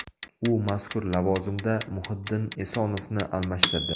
U mazkur lavozimda Muhiddin Esonovni almashtirdi.